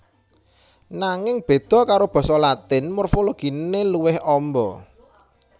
Nanging béda karo basa Latin morfologiné luwih amba